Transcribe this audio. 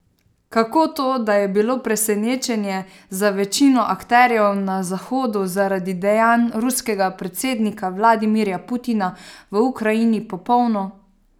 Kako to, da je bilo presenečenje za večino akterjev na Zahodu zaradi dejanj ruskega predsednika Vladimirja Putina v Ukrajini popolno?